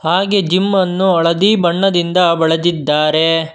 ಹಾಗೆ ಜಿಮ್ಮನ್ನು ಹಳದಿ ಬಣ್ಣದಿಂದ ಬಳದಿದ್ದಾರೆ.